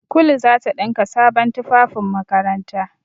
Kulu za ta ɗinka sabon tufafin makaranta.